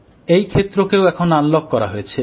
এই ক্ষেত্রকেও এখন আনলক করা হয়েছে